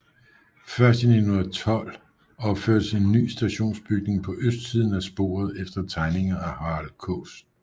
Først i 1912 opførtes en ny stationsbygning på østsiden af sporet efter tegninger af Harald Kaas